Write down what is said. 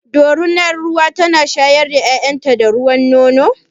Dorunar ruwa tana shayar da ƴaƴan ta da ruwan nono?